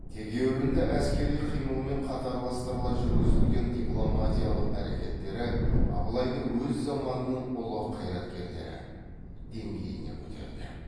тегеурінді әскери қимылмен қатарластырыла жүргізілген дипломатиялық әрекеттері абылайды өз заманының ұлы қайраткерлері деңгейіне көтерді